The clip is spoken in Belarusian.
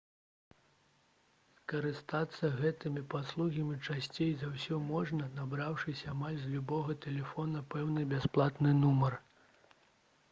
скарыстацца гэтымі паслугамі часцей за ўсё можна набраўшы амаль з любога тэлефона пэўны бясплатны нумар